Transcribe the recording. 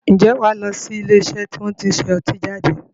Ǹjẹ́ wà lọ sí ilé iṣẹ́ tí wọn tí ń ṣe ọtí jáde?